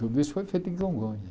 Tudo isso foi feito em Congonhas.